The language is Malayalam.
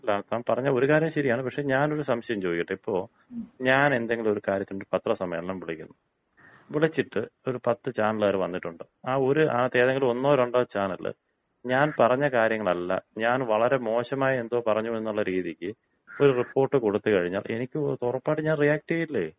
അല്ല താൻ പറഞ്ഞ ഒരു കാര്യം ശരിയാണ്. പക്ഷേ ഞാനൊരു സംശയം ചോദിക്കട്ടെ? ഇപ്പൊ ഞാൻ എന്തെങ്കിലും ഒരു കാര്യത്തിന് പത്രസമ്മേളനം വിളിക്കുന്നു. വിളിച്ചിട്ട് ഒരു പത്ത് ചാനലുകാര് വന്നിട്ടുണ്ട്. ആ ഒര് അതിനകത്ത് ഏതെങ്കിലും ഒന്നോ രണ്ടോ ചാനലില്‍ ഞാൻ പറഞ്ഞ കാര്യങ്ങളല്ല ഞാൻ വളരെ മോശമായി എന്തോ പറഞ്ഞു എന്നുള്ള രീതിക്ക് ഒരു റിപ്പോർട്ട് കൊടുത്തുകഴിഞ്ഞാൽ എനിക്കും ഉറപ്പായിട്ടും ഞാൻ റിയാക്ട് ചെയ്യില്ലേ